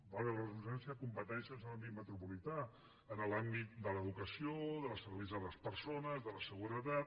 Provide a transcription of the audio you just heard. valgui la redundància competències en l’àmbit metropolità en l’àmbit de l’educació dels serveis a les persones de la seguretat